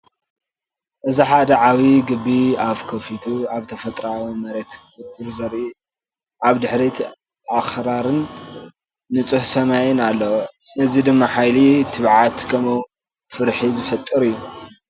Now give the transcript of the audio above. እዚ ሓደ ዓቢ ድቢ ኣፉ ከፊቱ ኣብ ተፈጥሮኣዊ መሬት ክጉርጉር ዘርኢ እዩ። ኣብ ድሕሪት ኣኽራንን ንጹር ሰማይን ኣሎ። እዚ ድማ ሓይሊ፡ ትብዓት፡ ከምኡ’ውን ፍርሒ ዝፈጥር እዩ።